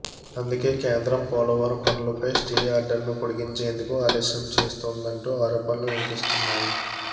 అందుకే కేంద్రం పోలవరం పనులపై స్టే ఆర్డర్ను పొడిగించేందుకు ఆలస్యం చేస్తోందన్న ఆరోపణలు వినిపిస్తున్నాయి